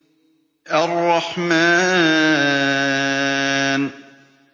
الرَّحْمَٰنُ